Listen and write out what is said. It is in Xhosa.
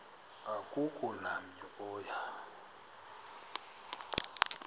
akukho namnye oya